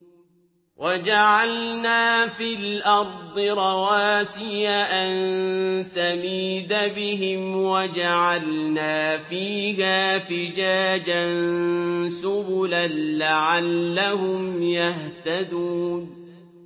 وَجَعَلْنَا فِي الْأَرْضِ رَوَاسِيَ أَن تَمِيدَ بِهِمْ وَجَعَلْنَا فِيهَا فِجَاجًا سُبُلًا لَّعَلَّهُمْ يَهْتَدُونَ